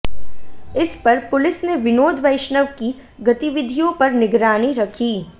इस पर पुलिस ने विनोद वैष्णव की गतिविधियों पर निगरानी रखी